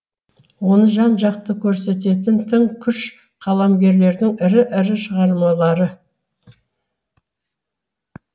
оны жан жақты көрсететін тың күш қаламгерлердің ірі ірі шығармалары